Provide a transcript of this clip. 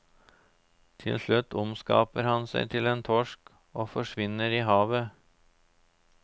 Til slutt omskaper han seg til en torsk og forsvinner i havet.